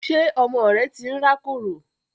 Ṣé ọmọ rẹ tí ń rákòrò?